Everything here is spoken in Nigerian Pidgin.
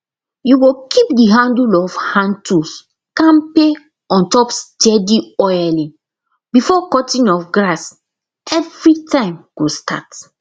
you go keep the handle of handtools kampe ontop steady oiling before cutting of grass everytime go start